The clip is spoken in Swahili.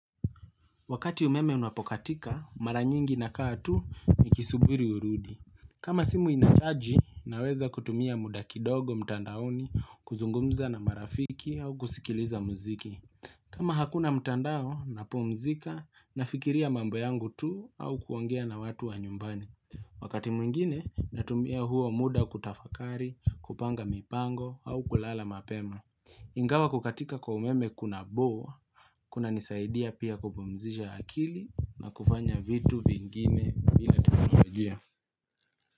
Wakati umeme unapokatika, mara nyingi nakaa tu nikisubiri urudi. Kama simu inachaji, naweza kutumia muda kidogo mtandaoni kuzungumza na marafiki au kusikiliza muziki. Kama hakuna mtandao, napumzika, nafikiria mambo yangu tu au kuongea na watu wa nyumbani. Wakati mwingine, natumia huo muda kutafakari, kupanga mipango au kulala mapema. Ingawa kukatika kwa umeme kuna bo, kuna nisaidia pia kupumzisha akili na kufanya vitu vingine vile natarajia.